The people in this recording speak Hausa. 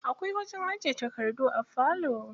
Akwai wajen ajiye takardu a falo.